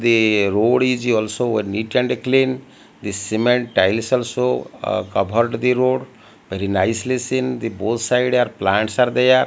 the road is also neat and clean the cement tiles also ah covered the road very nicely seen the both side are plants are there.